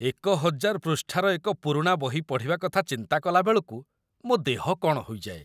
୧୦୦୦ ପୃଷ୍ଠାର ଏକ ପୁରୁଣା ବହି ପଢ଼ିବା କଥା ଚିନ୍ତା କଲାବେଳକୁ ମୋ ଦେହ କ'ଣ ହୋଇଯାଏ।